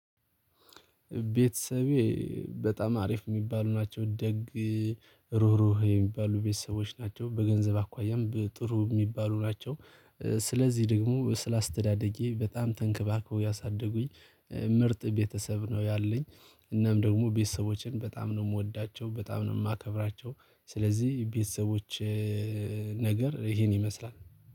ቤተሰቤ በጣም አሪፍ የሚባሉ ናቸው። ደግ ሩህሩህ የሚባሉ ቤተሰቦች ናቸው። በገንዘብ አኳያም ጥሩ የሚባሉ ናቸው። ስለዚህ ደግሞ ስለ አስተዳደጌ በጣም ተንከባከበው ያሳደጉኝ ምርጥ ቤተሰብ ነው። ያለኝ። እናም ደግሞ ቤተሰቦቼን በጣም ነው የምወዳቸው በጣም ነው የማከብራቸው። ስለዚህ የቤተሰቦቸ ነገር ይሄን ይመስላል